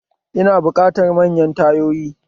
Ina buƙatan manyan tayoyi